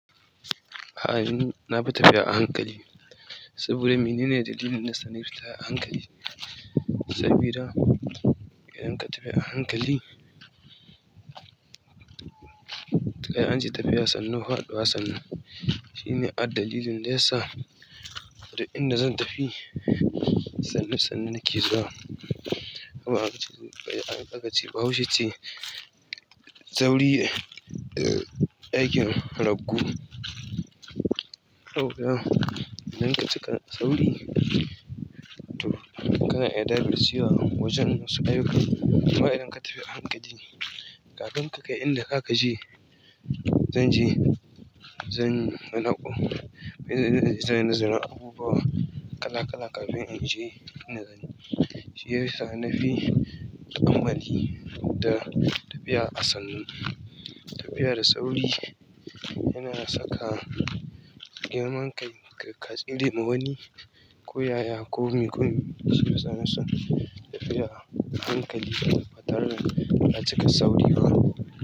A'a, ni nafi tafiya a hankali saboda mene ne dalilin ɗaya sani tafiya a hankali. Sabida idan ka tahi a hankali, sai anji tafiya sannu haɗuwa sannu. Shine addalilin da yasa duk inda zan tafi sannu sannu nake zuwa. Amma aka ce, aka ce bahaushe ce, sauri eh ɗakin ragu. Idan ka cika sauri, to kana iya dabar cewa wajen masu ayyuka. Amma idan ka tafi a hankali ne, kafin ka kai inda ka ka je, zan je, zan inganako, zan nazari abubuwa kala kala kafin in je inda zani. Shi yasa na fi amfani da tafiya a sannu. Tafiya da sauri yana saka, girman kai, kai ka tsere ma wani, ko yaya komi komi su fi sana'an tafiya a hankali da batare da na cika sauri ba.